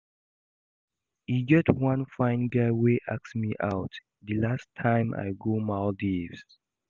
E get one fine guy wey ask me out the last time I go Maldives